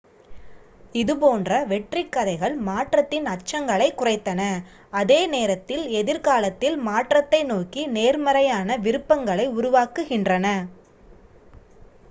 இதுபோன்ற வெற்றிக் கதைகள் மாற்றத்தின் அச்சங்களைக் குறைத்தன அதே நேரத்தில் எதிர்காலத்தில் மாற்றத்தை நோக்கி நேர்மறையான விருப்பங்களை உருவாக்குகின்றன